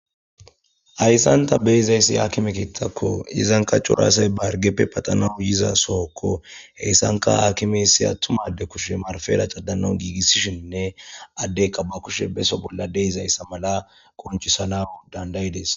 Hayssan ta be'izayssi hakime keeththakko. Izanka cora asay ba harggeppe paxanawu yiza sookko. Heyssanka hakimessi attuma adde kushe marfera caddanawu giigissishinne addeykka ba kushe beso bolla de'izayssa mala qonchisana dandayides.